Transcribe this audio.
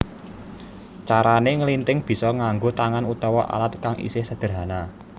Carané nglinthing bisa nganggo tangan utawa alat kang isih sedherhana